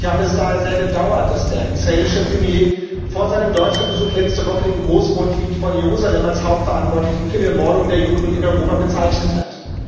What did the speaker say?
Ich habe es daher sehr bedauert, dass der israelische Premier vor seinem Deutschlandbesuch letzte Woche den Großmufti von Jerusalem als Hauptverantwortlichen für die Ermordung der Juden in Europa bezeichnet hat.